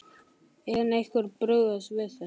En hvernig er brugðist við þessu?